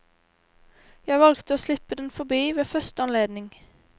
Jeg valgte å slippe den forbi ved første anledning.